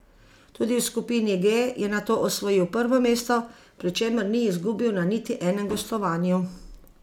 Tudi v skupini G je nato osvojil prvo mesto, pri čemer ni izgubil na niti enem gostovanju!